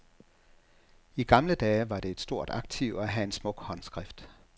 I gamle dage var det et stort aktiv at have en smuk håndskrift.